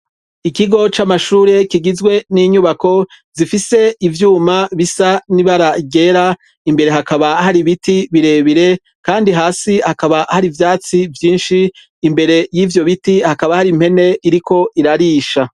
Ikigo c'amashure kigizwe n'inyubako gifise ivyuma bisa n'ibara ryera imbere hakaba hari ibiti birebire kandi hasi hakaba hari ivyatsi vyinshi, imbere yivyo biti hakaba hari impene iriko irarisha.